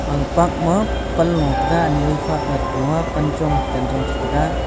aga park ma pan lo taiga ani ani phakley palo a pan chong chen chong taiga.